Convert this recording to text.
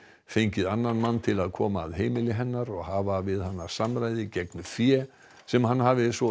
fengið mann til að koma að heimili hennar og hafa við hana samræði gegn fé sem hann hafi svo